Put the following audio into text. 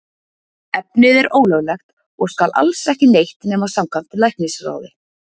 Efnið er ólöglegt og skal alls ekki neytt nema samkvæmt læknisráði.